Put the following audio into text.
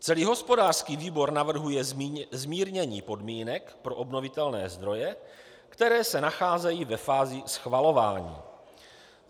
Celý hospodářský výbor navrhuje zmírnění podmínek pro obnovitelné zdroje, které se nacházejí ve fázi schvalování.